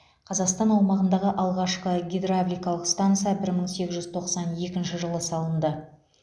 қазақстан аумағыдағы алғашқы гидравликалық станса бір мың сегіз жүз тоқсан екінші жылы салынды